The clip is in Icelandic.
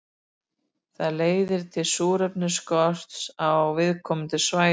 Það leiðir til súrefnisskorts á viðkomandi svæðum.